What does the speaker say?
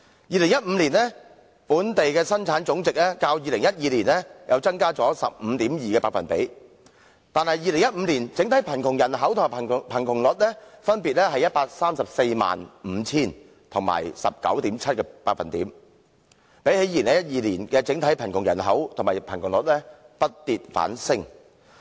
2015年本地生產總值較2012年增加 15.2%， 但2015年的整體貧窮人口及貧窮率分別是 1,345 000人及 19.7%， 與2012年的整體貧窮人口及貧窮率比較，不跌反升。